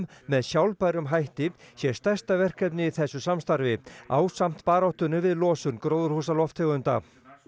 með sjálfbærum hætti sé stærsta verkefnið í þessu samstarfi ásamt baráttunni við losun gróðurhúsalofttegunda og